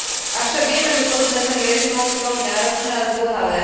Avšak vieme, že podobné zmeny režimov sú veľmi náročné a zdĺhavé.